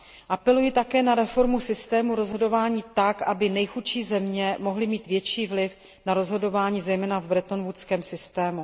Apeluji také na reformu systému rozhodování tak, aby nejchudší země mohly mít větší vliv na rozhodování, zejména v bretonwoodském systému.